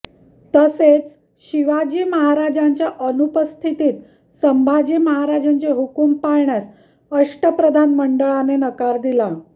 तसेच शिवाजी महाराजांच्या अनुपस्थितीत संभाजी महाराजांचे हुकूम पाळण्यास अष्टप्रधानमंडळाने नकार दिला